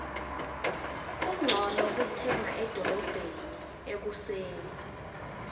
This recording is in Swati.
kuncono kutsenga edolobheni ekuseni